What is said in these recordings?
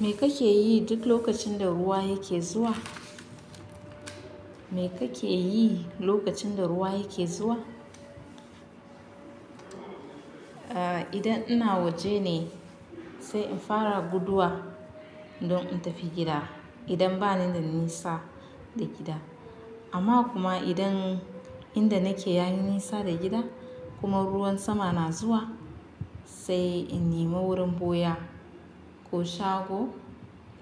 Me kake yi duk lokacin da ruwa yake zuwa? Me kake yi lokacin da ruwa yake zuwa? Idan ina waje ne sai in fara guduwa don in tafi gida idan bani da nisa da gida. Amma kuma idan inda nake yayi nisa da gida kuma ruwan sama na zuwa sai in nema wurin ɓoya ko shago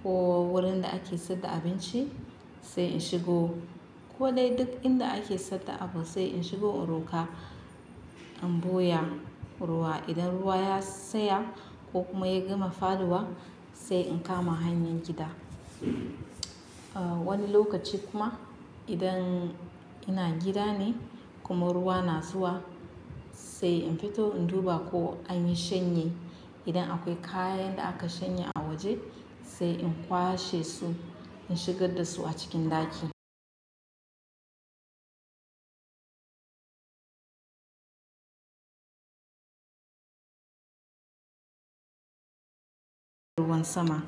ko wurin da ake saida abinci sai in shigo. Ko dai duk inda ake saida abu sai in shigo in roƙa in boya ruwa. Idan ruwa ya tsaya ko kuma ya gama faɗuwa sai in kama hanyar gida. Wani lokaci kuma idan ina gida ne kuma ruwa na zuwa sai in fito in duba ko anyi shanya. Idan akwai kayan da aka shanya a waje sai in kwashe su, in shigar da su a cikin ɗaki ruwan sama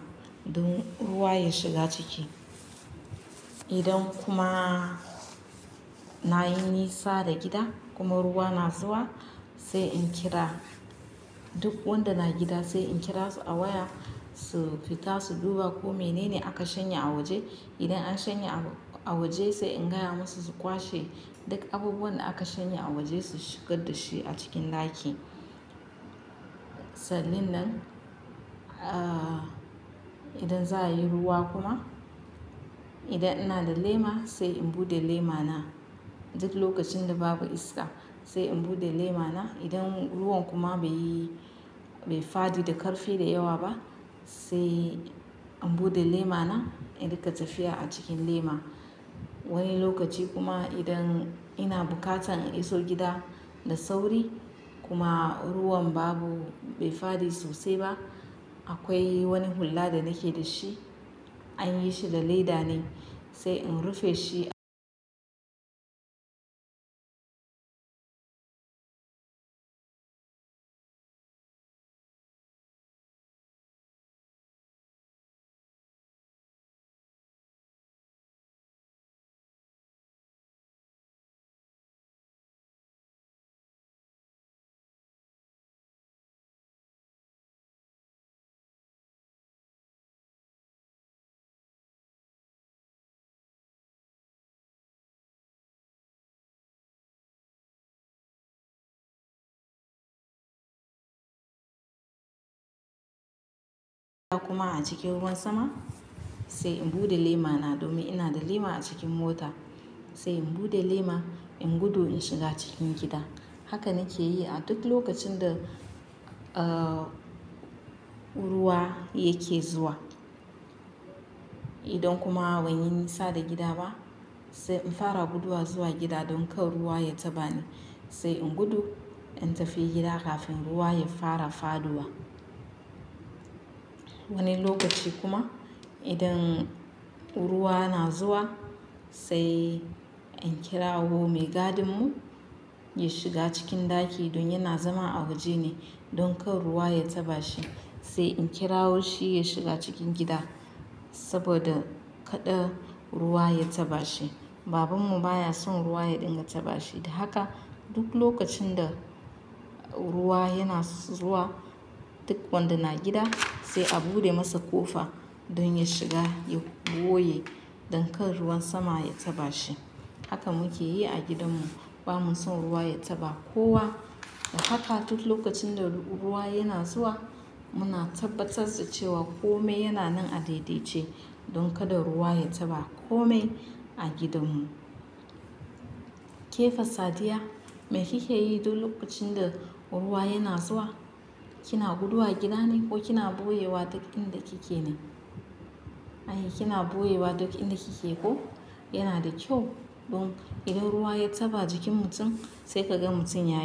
don ruwa ya shiga ciki. Idan kuma nayi nisa da gida kuma ruwa na zuwa sai in kira duk wanda na gida sai in kira su a waya su fita su duba ko menene aka shanya a waje. Idan an shanya a waje sai in gaya musu su kwashe duk abubuwan da aka shanye a waje su shigar da shi a cikin ɗaki. Sallin nan, idan za yayi ruwa kuma idan ina da lema sai in buɗe lema na. Duk lokacin da babu iska sai in bude lema na. Idan ruwan kuma bai yi, bai fadi da ƙarfi da yawa ba sai in buɗe lema na in riƙa tafiya a cikin lema. Wani lokaci kuma idan ina buƙatan in iso gida da sauri kuma ruwan babu, bai fadi sosai ba, akwai wani hulla da nake da shi anyi shi da leda ne sai in rufe shi kuma a cikin ruwan sama sai in buɗe lema na domin ina da lema a cikin mota sai in buɗe lema, in gudu in shiga cikin gida. Haka nake yi a duk lokacin da ruwa yake zuwa. Idan kuma ban yi nisa da gida ba sai in fara guduwa zuwa gida don kar ruwa ya taɓa ni sai in gudu in tafi gida kafin ruwa ya fara faɗuwa. Wani lokaci kuma idan ruwa na zuwa sai in kirawo mai gadin mu ya shiga cikin ɗaki don yana zama a waje ne don kar ruwa ya taɓa shi sai in kirawo shi ya shiga cikin gida saboda kaɗai ruwa ya taɓa shi. Babanmu baya son ruwa ya dinga taɓa shi. Haka duk lokacin da ruwa yana zuwa duk wanda na gida sai a buɗe masa ƙofa don ya shiga ya ɓoye don kar ruwan sama ya taɓa shi. Haka muke yi a gidanmu. Bamu son ruwa ya taɓa kowa. Dakata duk lokacin da ruwa yana zuwa muna tabbatar da cewa kome yana nan a daidai ce don kada ruwa ya taɓa kome a gidanmu. Kefa Sadiya, me kike yi duk lokacin da ruwa yana zuwa? Kina guduwa gida ne ko kina ɓoye wa duk inda kike ne? Ai, kina ɓoye wa duk inda kike ko yana da kyau don idan ruwa ya taɓa jikin mutum sai ka ga mutum ya.